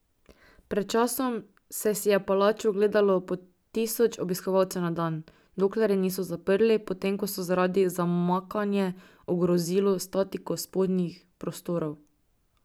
Pred časom se si je palačo ogledalo po tisoč obiskovalcev na dan, dokler je niso zaprli, potem ko so zaradi zamakanje ogrozilo statiko spodnjih prostorov.